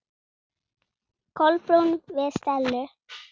Kolbrún við Stellu.